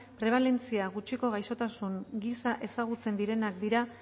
prebalentzia gutxiko gaixotasun giza ezagutzen direnak dira